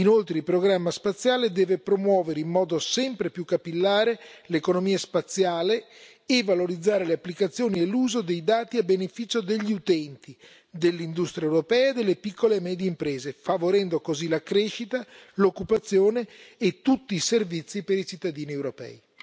Inoltre, il programma spaziale deve promuovere in modo sempre più capillare l'economia spaziale e valorizzare le applicazioni e l'uso dei dati a beneficio degli utenti, dell'industria europea e delle piccole e medie imprese, favorendo così la crescita, l'occupazione e tutti i servizi per i cittadini europei.